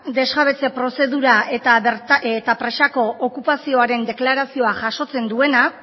desjabetze prozedura eta presako okupazioaren deklarazioa jasotzen duena